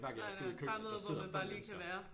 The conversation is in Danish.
Nej nej bare noget hvor man bare lige kan være